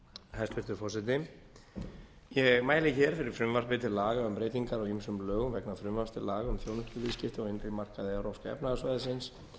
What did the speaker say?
hæstvirtur forseti ég mæli hér fyrir frumvarpi til laga um breytingar á ýmsum lögum vegna frumvarps til laga um þjónustuviðskipti á innri markaði evrópska efnahagssvæðisins